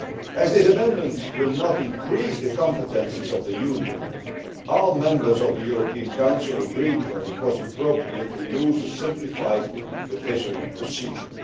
As this amendment will not increase the competences of the Union, all members of the European Council agreed that it was appropriate to use a simplified revision procedure.